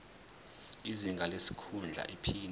izinga lesikhundla iphini